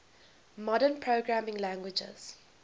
modern programming languages